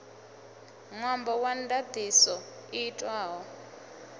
ṅwambo wa ndaṱiso i itwaho